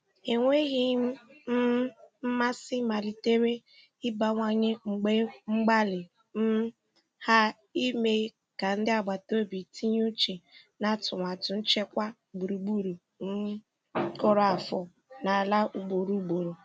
Enweghị um mmasị malitere ịbawanye mgbe mgbalị um ha ime ka ndị agbataobi tinye uche n'atụmatụ nchekwa gburugburu um kụrụ afọ n'ala ugboro ugboro.